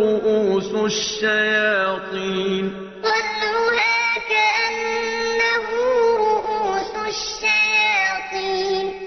رُءُوسُ الشَّيَاطِينِ طَلْعُهَا كَأَنَّهُ رُءُوسُ الشَّيَاطِينِ